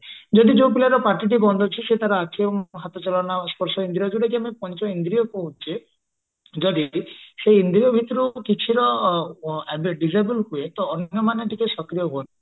ଯଦି ଯୋଉ ପିଲାର ପାଟି ଟି ବନ୍ଦ ଅଛି ସେ ତାର ଆଖି ଆଉ ହାତ ର ସ୍ପର୍ଶେନ୍ଦ୍ରିୟ ଯୋଉ ଟାକି ପଞ୍ଚଇନ୍ଦ୍ରିୟ କହୁଛେ ଯଦି ବି ସେ ଇନ୍ଦ୍ରିୟ ଭିତରୁ କିଛି ବି disabled ହୁଏ ତ ଅନ୍ଧ ମାନେ ଟିକେ ସକ୍ରିୟ ହୁଅନ୍ତି